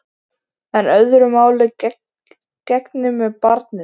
En öðru máli gegnir með barnið.